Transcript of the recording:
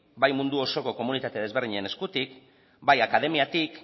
bai mundu osoko komunitate ezberdinen eskutik bai akademiatik